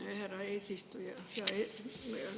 Aitäh, härra eesistuja!